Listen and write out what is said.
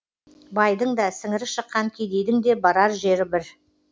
байдың да сіңірі шыққан кедейдің де барар жері бір